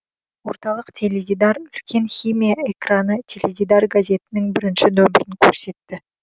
орталық теледидар үлкен химия экраны теледидар газетінің бірінші нөмірін көрсетті